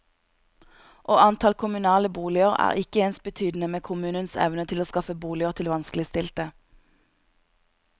Og antall kommunale boliger er ikke ensbetydende med kommunens evne til å skaffe boliger til vanskeligstilte.